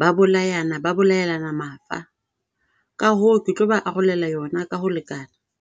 ba bolayana. Ba bolayanela mafa, Ka hoo, ke tlo ba arolela yona ka ho lekana.